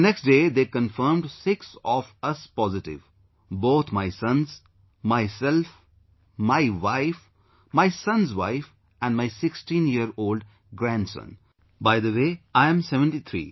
The next day they confirmed six of us positive... both my sons, myself, my wife, my son's wife and my sixteen year old grandson...By the way, I am 73